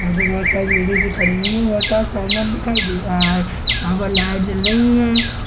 यहाँ पर बहुत सारी लेडीज भी खड़ी हुई हैं बहुत सारा सामान दिखाई दे रहा है वहाँ पर लाइट जल रही है।